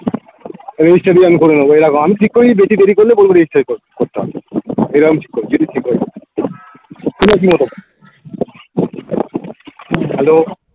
registry করে আমি করিয়ে নেবো এই দেখো ঠিক করেছি বেশি দেরি করলে বলবো registry ক~করতে হবে এরম যদি ঠিক হয় তোমার কি মত আছে hello